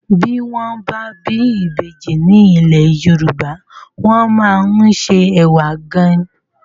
Ti wòn bâ bi ibéji ni ilé Yoruba wòn má n sé èwá gáin